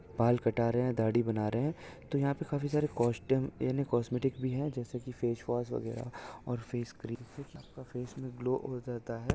बाल कटा रहे है दाढ़ी बना रिया तो यहा पर काफी सारे कास्टूम याने कॉस्मेटिक भी है जैसे कि फेस्वाश वगैरा और फेस क्रीम फेस ग्लो हो जाता है।